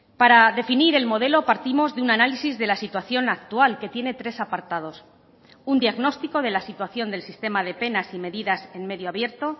para definir el modelo partimos de un análisis de la situación actual que tiene tres apartados un diagnóstico de la situación del sistema de penas y medidas en medio abierto